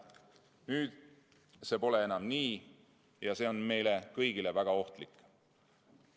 Nüüd see pole enam nii ja see on meile kõigile väga ohtlik.